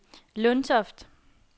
Lundtoft